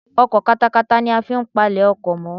Ọkọ̀ katakata ni a fi n palẹ̀ oko mọ́